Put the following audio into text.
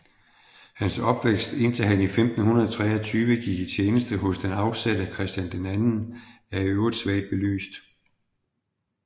Hans opvækst indtil han i 1523 gik i tjeneste hos den afsatte Christian II er i øvrigt svagt belyst